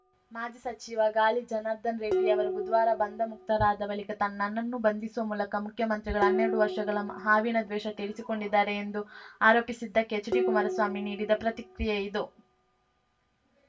ಮಾಜಿ ಸಚಿವ ಗಾಲಿ ಜನಾರ್ದನ ರೆಡ್ಡಿ ಅವರು ಬುಧವಾರ ಬಂಧಮುಕ್ತರಾದ ಬಳಿಕ ತನ್ನನ್ನ ನನ್ನನ್ನು ಬಂಧಿಸುವ ಮೂಲಕ ಮುಖ್ಯಮಂತ್ರಿಗಳು ಹನ್ನೆರಡು ವರ್ಷಗಳ ಹಾವಿನ ದ್ವೇಷ ತೀರಿಸಿಕೊಂಡಿದ್ದಾರೆ ಎಂದು ಆರೋಪಿಸಿದ್ದಕ್ಕೆ ಎಚ್‌ಡಿಕುಮಾರಸ್ವಾಮಿ ನೀಡಿದ ಪ್ರತಿಕ್ರಿಯೆಯಿದು